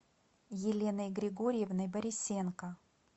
еленой григорьевной борисенко